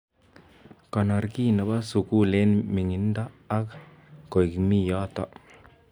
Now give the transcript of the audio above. Konor ki nebo sukul eng ming'indo ak koek mi yotok.